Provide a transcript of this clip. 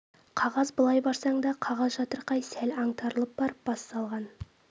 қағаз былай барсаң да қағаз жатырқай сәл аңтарылып барып бас салған